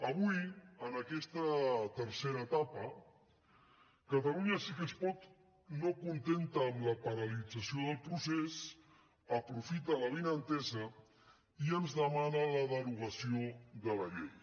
avui en aquesta tercera etapa catalunya sí que es pot no contenta amb la paralització del procés aprofita l’avinentesa i ens demana la derogació de la llei